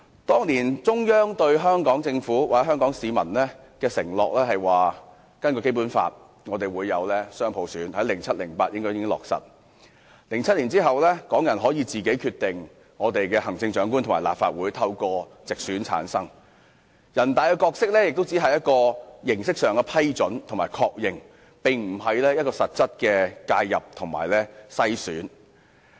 當年中央曾向香港政府或香港市民承諾，根據《基本法》，香港會實行雙普選，而在2007年後，香港人可透過直選自行選出行政長官和立法會議員，全國人民代表大會的角色只是在形式上作出批准和確認，而非進行實質的介入和篩選。